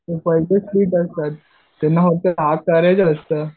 ते तर त्यांना